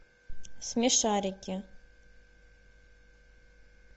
смешарики